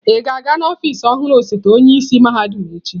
Ị ga-aga n'ọfịs ọhụrụ osote onye isi mahadum echi?